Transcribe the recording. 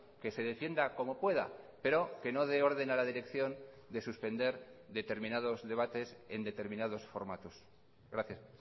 que se defienda como pueda pero que no de orden a la dirección de suspender determinados debates en determinados formatos gracias